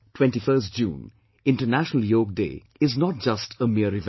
21st June, International Yog Day is not just a mere event